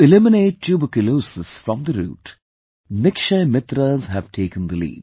To eliminate tuberculosis from the root, Nikshay Mitras have taken the lead